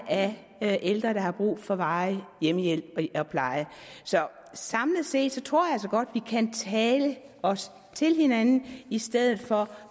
af ældre der har brug for varig hjemmehjælp og pleje så samlet set tror jeg altså godt at vi kan tale os til hinanden i stedet for